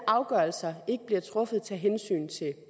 afgørelser ikke bliver truffet tage hensyn til